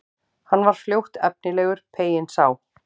Hann var fljótt efnilegur, peyinn sá.